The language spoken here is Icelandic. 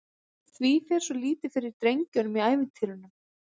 Því fer svo lítið fyrir drengjunum í ævintýrunum?